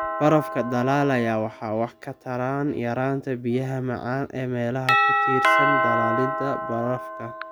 Barafka dhalaalayaa waxay wax ka taraan yaraanta biyaha macaan ee meelaha ku tiirsan dhalaalidda barafka.